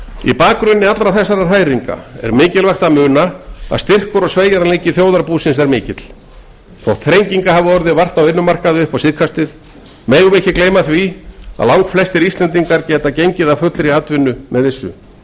í bakgrunni allra þessara hræringa er mikilvægt að muna að styrkur og sveigjanleiki þjóðarbúsins er mikill þótt þrenginga hafi orðið vart á vinnumarkaði upp á síðkastið megum við ekki gleyma því að langflestir íslendingar geta gengið að fullri atvinnu með vissu